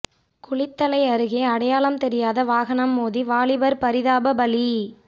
குளித்தலை அருகே அடையாளம் தெரியாத வாகனம் மோதி வாலிபர் பரிதாப பலி